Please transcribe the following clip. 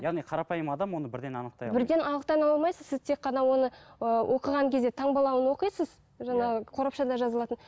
яғни қарапайым адам оны бірден анықтай алмайды бірден анықтай алмайсыз сіз тек қана оны ыыы оқыған кезде таңбалауын оқисыз жаңағы қорапшада жазылатын